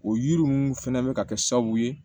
O yiri ninnu fɛnɛ bɛ ka kɛ sababu ye